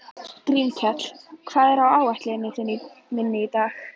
Grímkell, hvað er á áætluninni minni í dag?